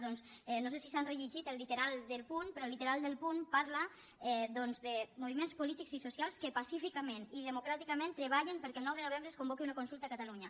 doncs no sé si s’han rellegit el literal del punt però el literal del punt parla de moviments polítics i socials que pacíficament i democràticament treballen perquè el nou de novembre es convoqui una consulta a catalunya